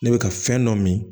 Ne bɛ ka fɛn dɔ min